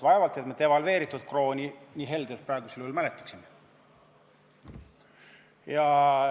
Vaevalt et me muidu Eesti krooni siin nii suure heldimusega mäletaksime.